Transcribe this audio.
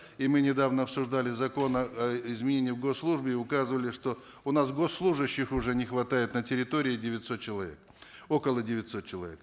и мы недавно обсуждали закон о о изменении в госслужбе и указывали что у нас госслужащих уже не хватает на территории девятьсот человек около девятисот человек